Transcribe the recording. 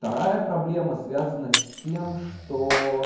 вторая проблема связана с тем что